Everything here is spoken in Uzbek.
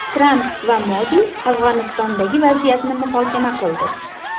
Tramp va Modi Afg‘onistondagi vaziyatni muhokama qildi.